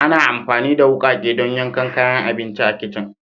Ana amfani da wukake don yankan kayan abinci a kicin